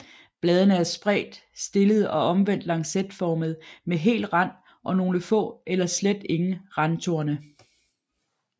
Bladene er spredt stillede og omvendt lancetformede med hel rand og nogle få eller slet ingen randtorne